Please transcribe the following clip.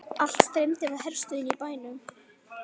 Allt streymdi frá herstöðinni í bæinn.